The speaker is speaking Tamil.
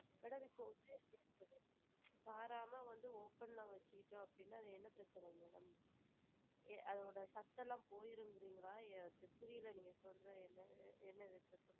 Madam இப்போ சாத்தாம இத open ல வச்சு கிட்டா என்ன பிரச்சனை வரும் madam அதோட சத்துலா போயிடும்கிரின்களா புரியல நீங்க சொல்ற எதுமே என்ன இது?